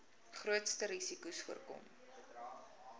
grootste risikos voorkom